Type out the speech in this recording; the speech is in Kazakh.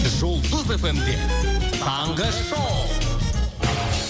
жұлдыз эф эм де таңғы шоу